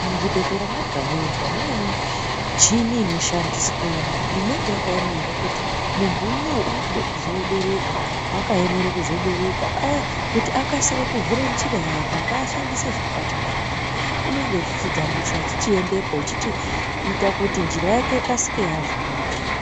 Muzvibhedhlera mwega-mwega mune michini inoshandiswemwo inenge yakaemere kuti muntu unowu ,uri kude kuzobereka, wakaemere kuzobereka aa ,kuti akasire kuvhure njira yake, ngaashandise zvakati ngezvakati, unenga eivhure njira yake, echichitambisa ,eichiendepo, echichiita kuti njira yake ikasike yavhurika.